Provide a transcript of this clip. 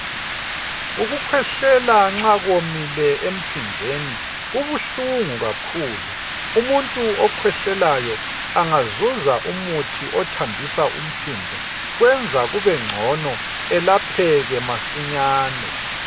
Ukukhwehlela nxa kuwomile empinjweni kubuhlungu kakhulu. Umuntu okhwehlelayo engazuza umuthi othambisa umpimbo, kwenza kubengcono elapheke masinyane.